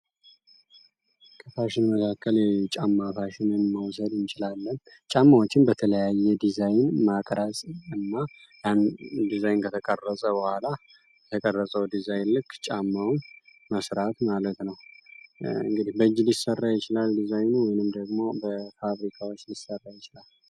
ከፋሽን መካከል ጫማ ፋሽንን መዉሰድ እንችላለን። ጫማዎችን በተለያየ በተለያየ ዲዛን እና ቀራፂ ያን ዲዛይ ከተቀረፀ በኋላ በተቀረፀዉ ዲዛይን ልክ ጫማዉን መስራት ማለት ነዉ። እንግዲህ በእጅ ሊሰራ ይችላል ዲዛይኑ ደግሞ በፋብሪካዎች ሊሰራ ይችላል።